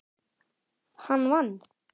Hann vann.